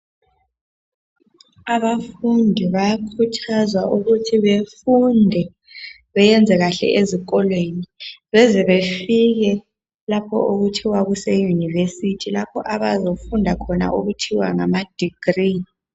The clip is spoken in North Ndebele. Abafundi bayakhuthazwa ukuthi bafunde beyenze kahle zikolweni beze befike lapho okuthiwa kuseYunivesithi lapha abayabe befunda khona okuthiwa ngamadegree.